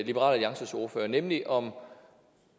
liberal alliances ordfører nemlig om